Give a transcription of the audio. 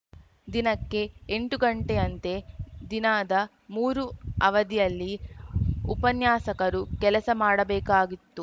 ದಿನಕ್ಕೆ ಎಂಟು ಗಂಟೆಯಂತೆ ದಿನದ ಮೂರು ಅವಧಿಯಲ್ಲಿ ಉಪನ್ಯಾಸಕರು ಕೆಲಸ ಮಾಡಬೇಕಾಗಿತ್ತು